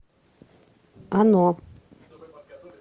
оно